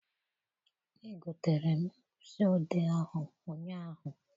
Egotere m mkpịsị odee ahụ ụnyaahụ.